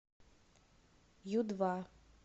ю два